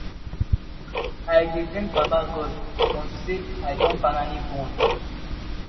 i dey thank baba god unto say i don finally born